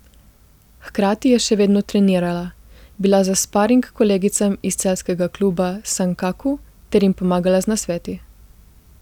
Hkrati je še vedno trenirala, bila za sparing kolegicam iz celjskega kluba Sankaku ter jim pomagala z nasveti.